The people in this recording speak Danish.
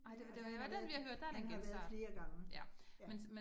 Nej den den har været, den har været flere gange, ja